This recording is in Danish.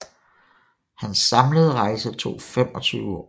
Hans samlede rejse tog 25 år